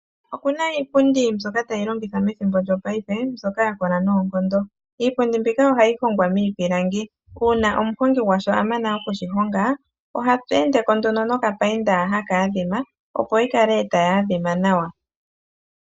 Okuna iipundi mbyoka tayi longithwa methimbo lyopaife mbyoka ya kola noonkondo. Iipundi mbika ohayi hongwa miipilangi, uuna omuhongi gwasho a mana okushihonga oha pelendeko nduno nokapainda haka adhima opo yi kale tayi adhima nawa.